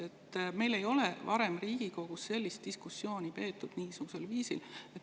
Niisugusel viisil ei ole meil varem Riigikogus diskussiooni peetud.